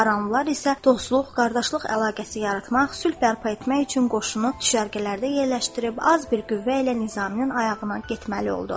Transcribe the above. Aranlılar isə dostluq, qardaşlıq əlaqəsi yaratmaq, sülh bərpa etmək üçün qoşunu düşərgələrdə yerləşdirib az bir qüvvə ilə Nizaminin ayağına getməli oldu.